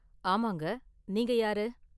ஆமாங்க, நீங்க யாரு?